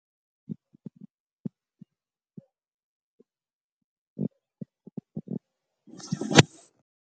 H_I_V.